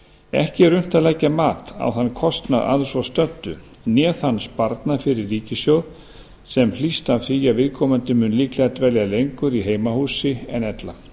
ekki er unnt að leggja mat á þann kostnað að svo stöddu né þann sparnað fyrir ríkissjóð sem hlýst af því að viðkomandi mun líklega dvelja lengur í heimahúsi en ella